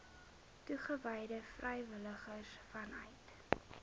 toegewyde vrywilligers vanuit